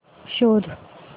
शोध